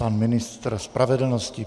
Pan ministr spravedlnosti.